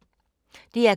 DR K